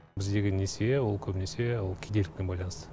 біздегі несие ол көбінесе ол кедейлікпен байланысты